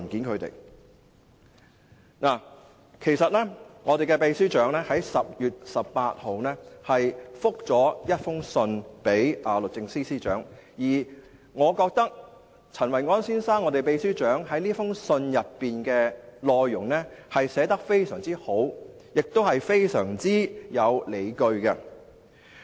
其實，秘書長已在10月18日以書面回覆律政司司長，而我覺得秘書長陳維安先生這封信的內容寫得非常好，亦非常有理據。